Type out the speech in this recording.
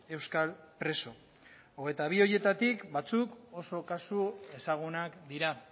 euskal preso hogeita bi horietatik batzuk oso kasu ezagunak dira